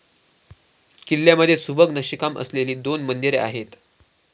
किल्ल्यामधे सुबक नक्षीकाम असलेली दोन मंदिरे आहेत.